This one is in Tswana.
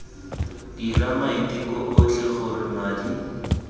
dira maiteko otlhe gore madi